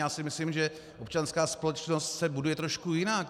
Já si myslím, že občanská společnost se buduje trošku jinak.